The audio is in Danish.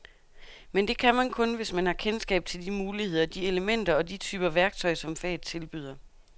Men det kan man kun, hvis man har kendskab til de muligheder, de elementer og de typer værktøj, som faget tilbyder.